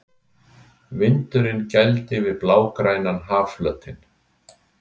Vindurinn gældi við blágrænan hafflötinn.